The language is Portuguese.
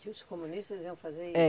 Que os comunistas iam fazer isso? É